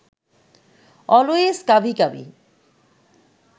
always কাভি কাভি